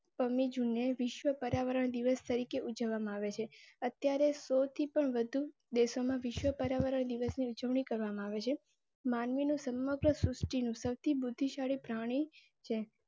પ મી જૂને વિશ્વ પર્યાવરણ દિવસ તરીકે ઉજવવામાં આવે છે. અત્યારે શો થી પણ વધુ દેશોમાં વિશ્વ પર્યાવરણ દિવસ ની ઉજવણી કરવામાં આવે છે. માનવી નું સમગ્ર શૃષ્ટિ નું સૌથી બુદ્ધિશાળી પ્રાણી છે.